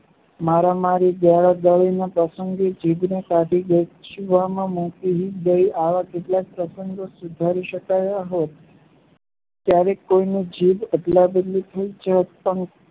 મારા-મારી, ગાળાગાળીના પ્રસંગે જીભને કાઢી ગજવામાં મૂકી દઈ આવા કેટલાય પ્રસંગો સુધારી શકાયા હોત. ક્યારેક કોઈની જીભ અદલાબદલી થઈ જાત પણ